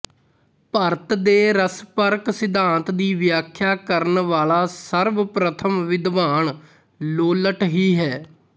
ਭਰਤ ਦੇ ਰਸਪਰਕ ਸਿਧਾਂਤ ਦੀ ਵਿਆਖਿਆ ਕਰਨ ਵਾਲਾ ਸਰਵਪ੍ਰਥਮ ਵਿਦਵਾਨ ਲੋੱਲਟ ਹੀ ਹੈ